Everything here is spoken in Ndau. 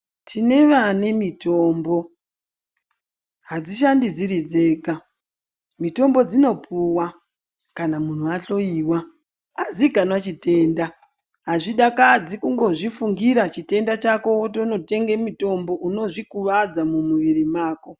Tine vanemitombo hadzishandi dziri dzega, mutombo dzinopuwa kana munhu ahloyiwa azikanwa chitenda. Azvidakadzi kungozvifungira chitenda chako wotonotenga mitombo, unozvikuvadza mumwira mwako.